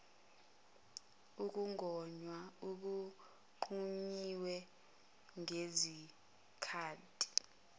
ukugonywa okungqunyiwe ngezikhati